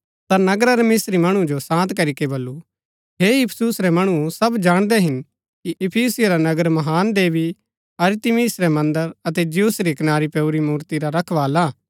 ता नगरा रै मन्त्रीये मणु जो शान्त करीके बल्लू हे इफिसुस रै मणुओ सब जाणदै हिन कि इफिसियों रा नगर महान देवी अरतिमिस रै मन्दर अतै ज्यूस री कनारी पैऊरी मूर्ति रा रखवाला हा